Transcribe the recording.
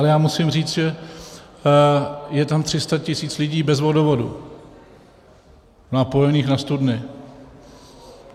Ale já musím říct, že je tam 300 tisíc lidí bez vodovodu, napojených na studny.